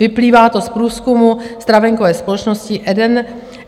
Vyplývá to z průzkumu stravenkové společnosti Eden...